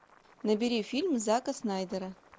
набери фильм зака снайдера